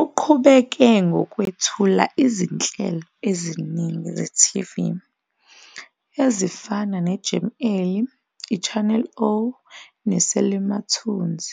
Uqhubeke ngokwethula izinhlelo eziningi ze-TV ezifana neJam Alley, iChannel O neSelimathunzi